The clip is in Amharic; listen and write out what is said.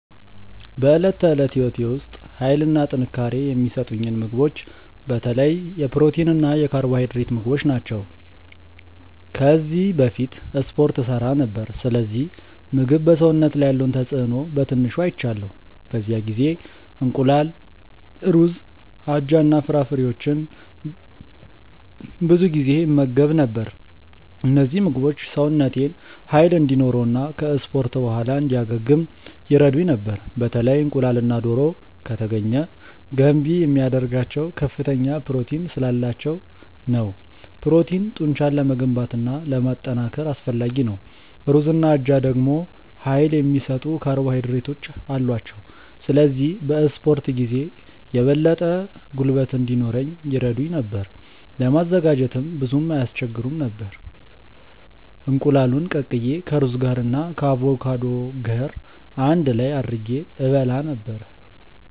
በዕለት ተዕለት ሕይወቴ ውስጥ ኃይልና ጥንካሬ የሚሰጡኝን ምግቦች በተለይ የፕሮቲን እና የካርቦሃይድሬት ምግቦች ናቸው። ከዚህ በፊት እስፖርት እሠራ ነበር፣ ስለዚህ ምግብ በሰውነት ላይ ያለውን ተጽእኖ በትንሹ አይቻለሁ። በዚያ ጊዜ እንቁላል፣ ሩዝ፣ አጃ እና ፍራፍሬዎችን ብዙ ጊዜ እመገብ ነበር። እነዚህ ምግቦች ሰውነቴን ኃይል እንዲኖረው እና ከ እስፖርት በኋላ እንዲያገግም ይረዱኝ ነበር። በተለይ እንቁላልና ዶሮ( ከተገኘ ) ገንቢ የሚያደርጋቸው ከፍተኛ ፕሮቲን ስላላቸው ነው። ፕሮቲን ጡንቻን ለመገንባት እና ለማጠናከር አስፈላጊ ነው። ሩዝና አጃ ደግሞ ኃይል የሚሰጡ ካርቦሃይድሬቶች አሏቸው፣ ስለዚህ በ እስፖርት ጊዜ የበለጠ ጉልበት እንዲኖረኝ ይረዱኝ ነበር። ለማዘጋጀትም ብዙም አይስቸግሩም ነበር፤ እንቁላሉን ቀቅዬ ከሩዝ ጋር እና ከአቮካዶ ገር አንድ ላይ አድርጌ እበላ ነበረ።